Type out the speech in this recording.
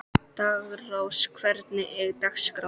Daggrós, hvernig er dagskráin?